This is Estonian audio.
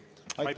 Aitäh!